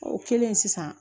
O kɛlen sisan